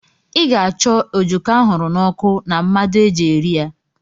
Ị ga-acho a ojoko ahuru na oku na mmadu eji eri ya?